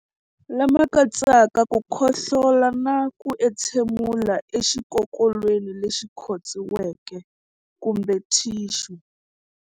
Lama katsaka ku khohlola na ku entshemulela exikokolweni lexi khotsiweke kumbe thixu.